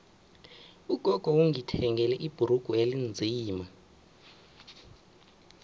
ugogo ungithengele ibhrugu elinzima